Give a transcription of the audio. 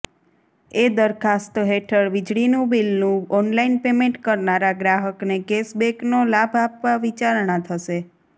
એ દરખાસ્ત હેઠળ વીજળીનું બિલનું ઓનલાઇન પેમેન્ટ કરનારા ગ્રાહકને કેશબેકનો લાભ આપવા વિચારણા થશે